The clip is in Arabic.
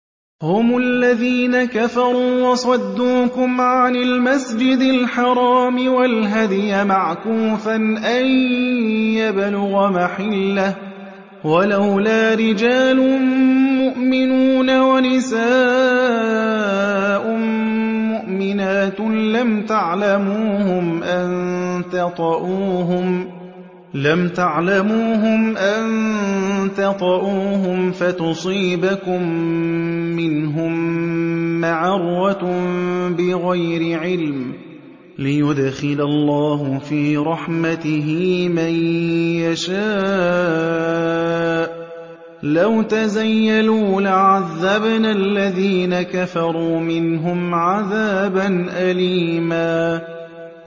هُمُ الَّذِينَ كَفَرُوا وَصَدُّوكُمْ عَنِ الْمَسْجِدِ الْحَرَامِ وَالْهَدْيَ مَعْكُوفًا أَن يَبْلُغَ مَحِلَّهُ ۚ وَلَوْلَا رِجَالٌ مُّؤْمِنُونَ وَنِسَاءٌ مُّؤْمِنَاتٌ لَّمْ تَعْلَمُوهُمْ أَن تَطَئُوهُمْ فَتُصِيبَكُم مِّنْهُم مَّعَرَّةٌ بِغَيْرِ عِلْمٍ ۖ لِّيُدْخِلَ اللَّهُ فِي رَحْمَتِهِ مَن يَشَاءُ ۚ لَوْ تَزَيَّلُوا لَعَذَّبْنَا الَّذِينَ كَفَرُوا مِنْهُمْ عَذَابًا أَلِيمًا